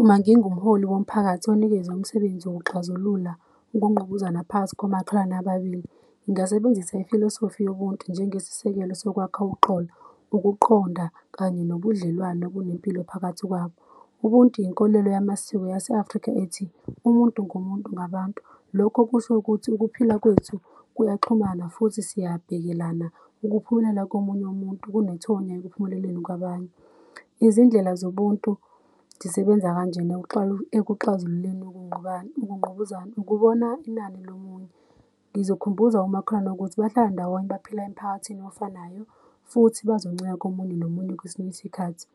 Uma ngingumholi womphakathi onikezwe umsebenzi wokuxazulula ukungqubuzana phakathi komakhelwane ababili, ngingasebenzisa ifilosofi yobuntu njengesisekelo sokwakha uxolo ukuqonda kanye nobudlelwano obunempilo phakathi kwabo. Ubuntu inkolelo yamasiko yaseAfrika ethi umuntu ngumuntu ngabantu. Lokho kusho ukuthi ukuphila kwethu kuyaxhumana futhi siyabhekelana. Ukuphumelela komunye umuntu kunethonya ekuphumeleleni kwabanye. Izindlela zobuntu zisebenza kanjena ekuxazululeni ukungqubuzana ukubona inani lomunye. Ngizokhumbuza umakhelwane ukuthi bahlala ndawonye baphila emiphakathini ofanayo futhi bazoncika komunye nomunye kwesinye isikhathi